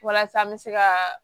Walasa an bɛ se ka